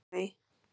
Pálmey